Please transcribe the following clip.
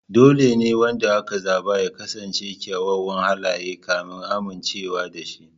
Dole ne wanda aka zaba ya kasance da kyawawan halaye kafin a amincewa da shi.